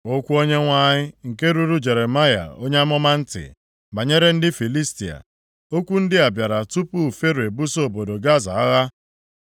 Okwu Onyenwe anyị nke ruru Jeremaya onye amụma ntị banyere ndị Filistia. Okwu ndị a bịara tupu Fero ebuso obodo Gaza agha.